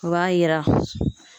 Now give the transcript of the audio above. O b'a yira